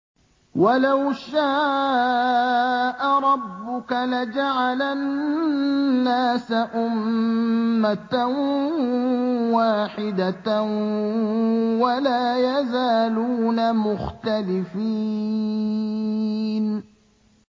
وَلَوْ شَاءَ رَبُّكَ لَجَعَلَ النَّاسَ أُمَّةً وَاحِدَةً ۖ وَلَا يَزَالُونَ مُخْتَلِفِينَ